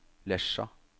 Lesja